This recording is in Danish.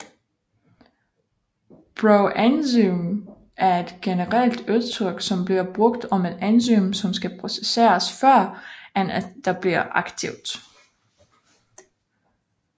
Proenzym er et generelt udtryk som bliver brugt om et enzym som skal processeres før end at det bliver aktivt